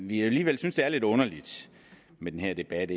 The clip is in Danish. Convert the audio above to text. vi alligevel synes det er lidt underligt med den her debat